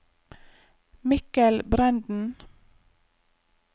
Mikkel Brenden